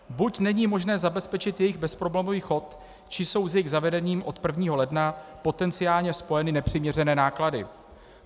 Buď není možné zabezpečit jejich bezproblémový chod, či jsou s jejich zavedením od 1. ledna potenciálně spojeny nepřiměřené náklady.